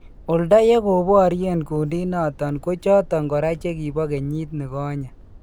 Oldo yekobaryeen kuundit noton ko choton koraa chekipo kenyiit nikonyee.